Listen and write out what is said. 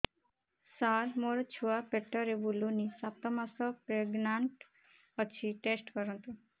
ସାର ମୋର ଛୁଆ ପେଟରେ ବୁଲୁନି ସାତ ମାସ ପ୍ରେଗନାଂଟ ଅଛି ଟେଷ୍ଟ କରନ୍ତୁ